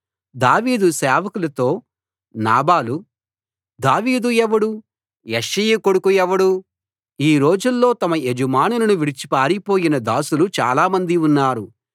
దావీదు సేవకులతో నాబాలు దావీదు ఎవడు యెష్షయి కొడుకెవడు ఈ రోజుల్లో తమ యజమానులను విడిచి పారిపోయిన దాసులు చాలా మంది ఉన్నారు